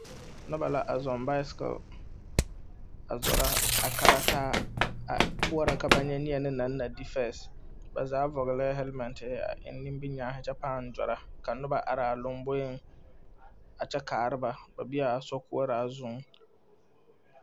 Noba la a zɔŋ bicycle a zoro,a karaa taa, a boɔroo ka ba nye neɛnɛ na na di first bazaa vɔŋlɛɛ helmet tere, a eŋ nimi kyɛɛne kyɛ baŋ zoro, ka noba are a loboe kyɛ karaa ba ba be la a sokɔɔra zuiŋ